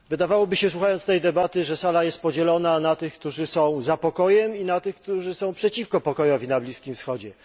Wydawałoby się, słuchając tej debaty, że sala jest podzielona na tych, którzy są za pokojem i na tych, którzy są przeciwko pokojowi na Bliskim Wschodzie